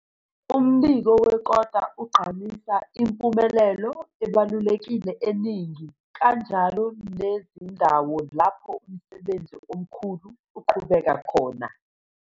Umbiko wekota ugqamisa impumelelo ebalulekile eningi, kanjalo nezindawo lapho umsebenzi omkhulu uqhubeka khona.